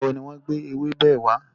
Nígbàwo ni wọn gbé ewébẹ̀ wà?